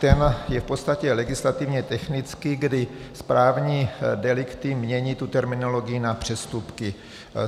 Ten je v podstatě legislativně technický, kdy správní delikty mění tu terminologii na přestupky.